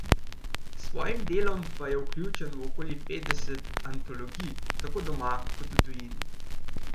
S svojim delom pa je vključen v okoli petdeset antologij tako doma kot v tujini.